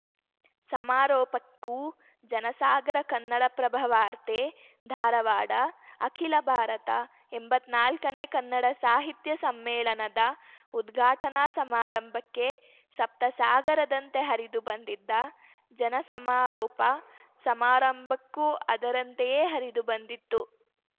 ಸಮಾರೋಪಕ್ಕೂ ಜನಸಾಗರ ಕನ್ನಡಪ್ರಭ ವಾರ್ತೆ ಧಾರವಾಡ ಅಖಿಲ ಭಾರತ ಎಂಬತ್ನಾಲ್ಕನೇ ಕನ್ನಡ ಸಾಹಿತ್ಯ ಸಮ್ಮೇಳನದ ಉದ್ಘಾಟನಾ ಸಮಾರಂಭಕ್ಕೆ ಸಪ್ತಸಾಗರದಂತೆ ಹರಿದು ಬಂದಿದ್ದ ಜನ ಸಮಾರೋಪ ಸಮಾರಂಭಕ್ಕೂ ಅದರಂತೆಯೇ ಹರಿದು ಬಂದಿತ್ತು